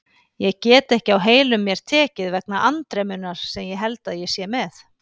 Ég get ekki á heilum mér tekið vegna andremmunnar sem ég held ég sé með.